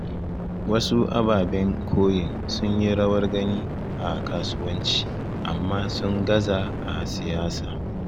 Wasu ababen koyin sun yi rawar gani a kasuwanci, amma sun gaza a siyasa.